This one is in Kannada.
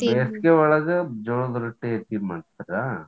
ಬೇಸಿಗಿಯೊಳಗ ಜೋಳದ್ ರೊಟ್ಟಿ ಹೆಚ್ಚಿಗಿ ಮಾಡ್ತೀರಾ?